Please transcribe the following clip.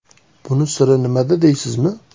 Buni siri nimada deysizmi?